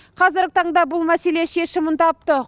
қазіргі таңда бұл мәселе шешімін тапты